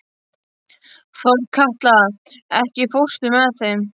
Þorkatla, ekki fórstu með þeim?